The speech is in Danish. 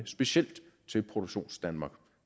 specielt til produktionsdanmark